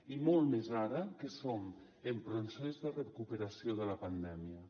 i molt més ara que som en procés de recuperació de la pandèmia